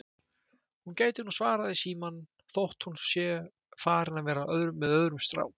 Hún gæti nú svarað í símann þótt hún sé farin að vera með öðrum strák